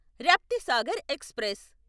Raptisagar express